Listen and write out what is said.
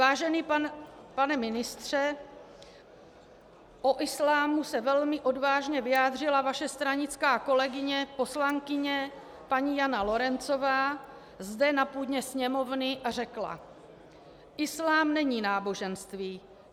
Vážený pane ministře, o islámu se velmi odvážně vyjádřila vaše stranická kolegyně poslankyně paní Jana Lorencová zde na půdě Sněmovny a řekla: "Islám není náboženství.